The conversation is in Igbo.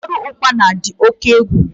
Ụfọdụ ukpana dị oke egwu